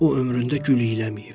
O ömründə gül iyələməyib.